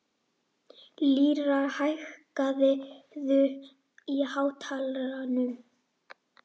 Lýra, hækkaðu í hátalaranum.